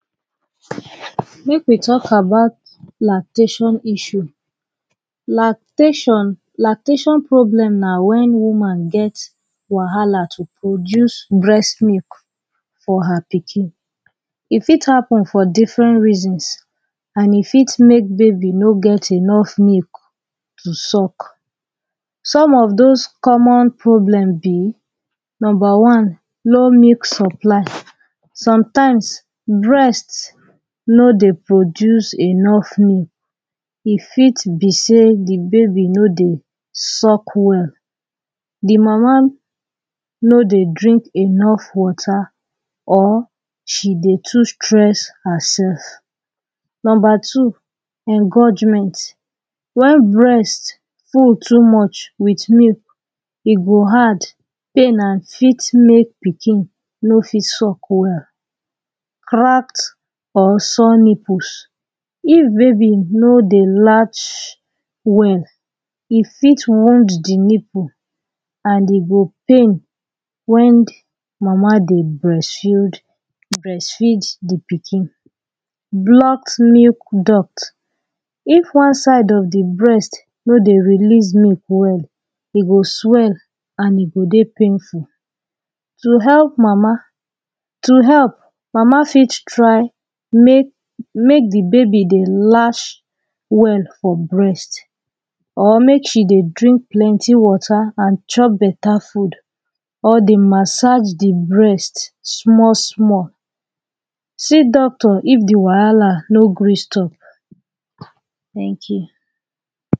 Mek we talk about lactation issue lactation, lactation problem na wen woman gets wahala to produce breast milk for her pikin e fit happen for different reasons an e fit mek baby no get enough milk to suck some of doz comon problem be Number one low milk supply sometimes breast no dey produce enough milk e fit be seh de baby no dey suck well de mama no dey drink enough water or she dey too stress herself Number two wen breast full too much wit milk e go hard pain an fit mek pikin no fit chop well rat or sore nipples if baby no dey latch well e fit wound the nipple an e go pain wen de mama dey breast feed de pikin Blocked milk duct If one side of de breast no dey release milk well e go swell and e go dey painful to help mama To help mama fit try mek mek de baby dey latch well for breast or mek she dey drink plenty water and chop beta food or dey massage de breast small small see doctor if de wahala no gree stop